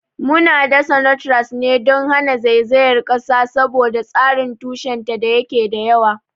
Muna dasa Notgrass ne don hana zaizayar kasa saboda tsarin tushenta da yake da yawa.